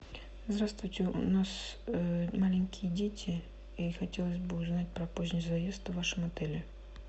здравствуйте у нас маленькие дети и хотелось бы узнать про поздний заезд в вашем отеле